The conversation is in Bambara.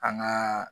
An ŋaa